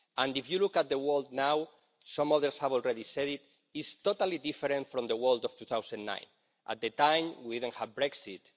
And if you look at the world now, some others have already said it, it is totally different from the world of 2009. At that time we didn't have Brexit